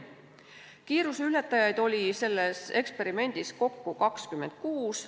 Kiiruseületajaid oli selles eksperimendis kokku 26.